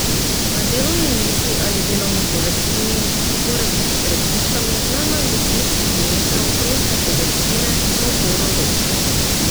Na delovni mizi ali delovni površini mora biti pred tipkami najmanj deset centimetrov proste površine za oporo rok.